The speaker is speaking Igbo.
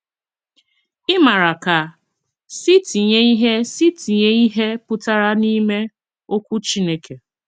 Ị maara ka ‘ si tinye ihe si tinye ihe pụtara n'ime ’okwu Chineke